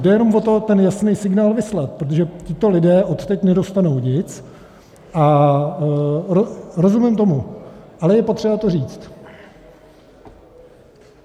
Jde jenom o to ten jasný signál vyslat, protože tito lidé odteď nedostanou nic a rozumím tomu, ale je potřeba to říct.